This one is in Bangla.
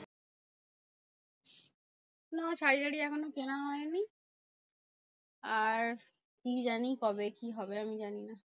না শাড়ি টারি এখনো কেনা হয়নি। আর কি জানি কবে কি হবে আমি জানি না?